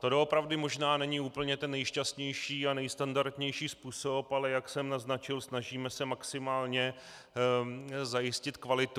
To doopravdy možná není úplně ten nejšťastnější a nejstandardnější způsob, ale jak jsem naznačil, snažíme se maximálně zajistit kvalitu.